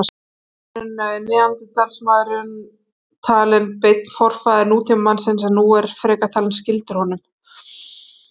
Áður var neanderdalsmaðurinn talinn beinn forfaðir nútímamannsins en er nú frekar talinn skyldur honum.